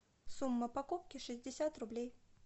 сумма покупки шестьдесят рублей